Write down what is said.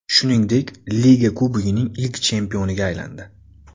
Shuningdek, Liga Kubogining ilk chempioniga aylandi.